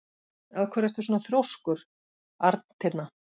Af hverju ertu svona þrjóskur, Arntinna?